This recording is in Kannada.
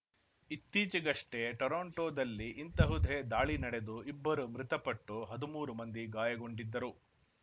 ಇತ್ತೀಚೆಗಷ್ಟೇ ಟೊರೊಂಟೊದಲ್ಲಿ ಇಂತಹುದೇ ದಾಳಿ ನಡೆದು ಇಬ್ಬರು ಮೃತಪಟ್ಟು ಹದ್ಮೂರು ಮಂದಿ ಗಾಯಗೊಂಡಿದ್ದರು